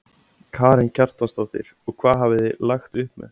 Karen Kjartansdóttir: Og hvað hafið þið lagt upp með?